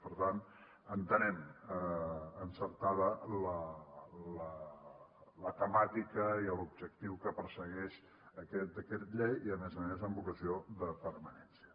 per tant entenem encertada la temàtica i l’objectiu que persegueix aquest decret llei i a més a més amb vocació de permanència